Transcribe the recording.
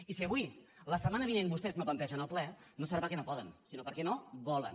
i si avui la setmana vinent vostès no plantegen el ple no serà perquè no poden sinó perquè no volen